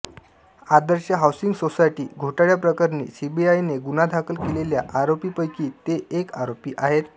आदर्श housing society घोटाळ्याप्रकरणी सीबीआयने गुन्हा दाखल केलेल्या आरोपींपैकी ते एक आरोपी आहेत